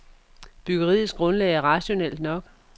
Byggeriets grundlag er rationelt nok.